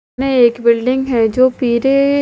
में एक बिल्डिंग हैं जो कि रे--